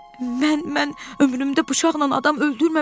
Mən, mən ömrümdə bıçaqla adam öldürməmişəm.